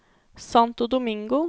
Santo Domingo